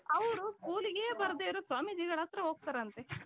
ಅವರು schoolಲಿಗೆ ಬರದೆ ಇರೋ ಸ್ವಾಮಿಜಿಗಳ ಹತ್ರ ಹೋಗ್ತಾರಂತೆ .